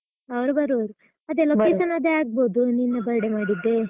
ಅವರು ಬರುವರು location ಅದೆ ಆಗ್ಬಹುದು ನಿನ್ನ birthday ಮಾಡಿದ್ದೆ .